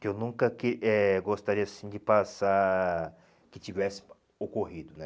Que eu nunca que eh gostaria, assim, de passar... Que tivesse ocorrido, né?